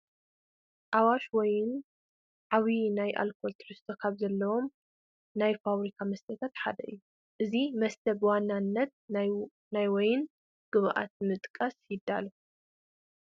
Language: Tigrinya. ኣዋሽ ዋይን ዓብዪ ናይ ኣልኮል ትሕዝቶ ካብ ዘለዎም ናይ ፋብሪካ መስተታት ሓደ እዩ፡፡ እዚ መስተ ብዋናነት ናይ ወይን ግብኣት ብምጥቃም ይዳሎ፡፡